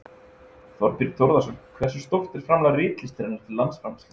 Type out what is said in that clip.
Þorbjörn Þórðarson: Hversu stórt er framlag ritlistarinnar til landsframleiðslunnar?